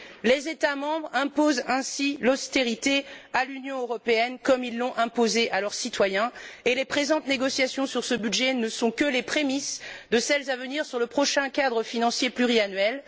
Les États membres imposent ainsi l'austérité à l'Union européenne, comme ils l'ont imposée à leurs citoyens, et les présentes négociations sur ce budget ne sont que les prémices de celles à venir sur le prochain cadre financier pluriannuel.